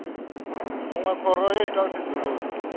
munwe khoro yo ita tsedzuluso